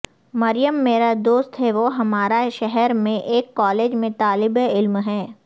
مریم میرا دوست ہے وہ ہمارے شہر میں ایک کالج میں طالب علم ہیں